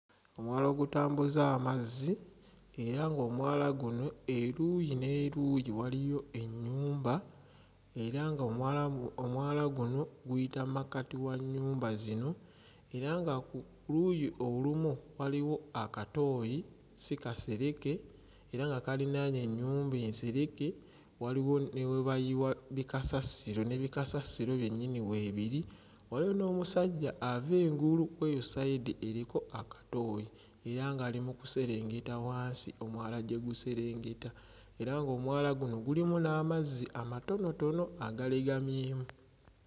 Omwala ogutambuza amazzi era ng'omwala guno eruuyi n'eruuyi waliyo ennyumba era ng'omwala omwala gu guno guyita mmakkati wa nnyumba zino era nga ku luuyi olumu waliwo akatooyi si kasereke era nga kaliraanye ennyumba ensereke waliwo ne we bayiwa bikasasiro ne bikasasiro byennyini weebiri waliwo n'omusajja ava engulu kweyo sayidi eriko akatooyi era ng'ali mu kuserengeta wansi omwala gye guserengeta era ng'omwala guno gulimu n'amazzi amatonotono agalegamyemu.